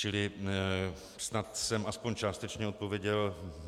Čili snad jsem aspoň částečně odpověděl.